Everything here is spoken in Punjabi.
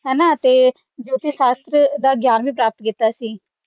ਜੋਤਿਸ਼ ਸ਼ਾਸਤਰ ਦਾ ਗਈਆਂ ਵੀ ਪ੍ਰਾਪਤ ਕੀਤਾ ਸੀ